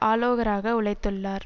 ஆலோகராக உழைத்துள்ளார்